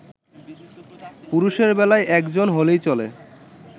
পুরুষের বেলায় একজন হলেই চলে